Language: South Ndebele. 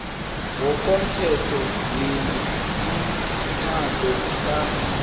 ngokomthetho wemitjhado ka